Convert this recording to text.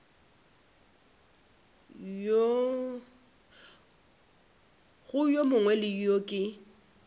go yo mongwe yo ke